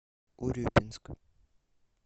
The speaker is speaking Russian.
урюпинск